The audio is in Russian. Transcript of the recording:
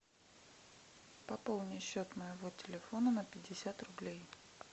пополни счет моего телефона на пятьдесят рублей